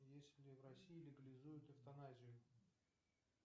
если в россии легализуют эвтаназию